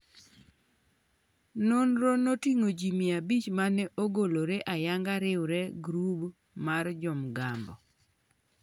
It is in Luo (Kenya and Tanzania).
nonro noting'o jii 500 mane ogolore ayanga riwre gi grup mar jo mgambo